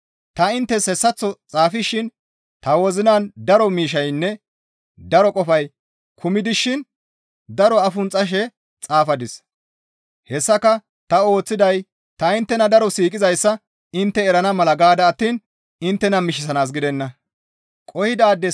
Ta inttes hessaththo xaafishin ta wozinan daro miishshaynne daro qofay kumi dishin daro afunxxashe xaafadis; hessaka ta ooththiday ta inttena daro siiqizayssa intte erana mala gaada attiin inttena mishisanaas gidenna.